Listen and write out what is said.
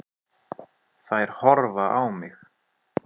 Þær horfa á mig.